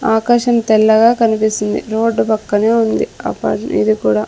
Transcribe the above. ఆకాశం తెల్లగా కనిపిస్తుంది రోడ్డు పక్కనే ఉంది అపార్ట్ ఇది కూడా.